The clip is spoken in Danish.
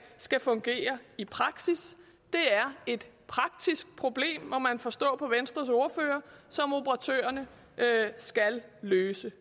skal fungere i praksis det er et praktisk problem må man forstå på venstres ordfører som operatørerne skal løse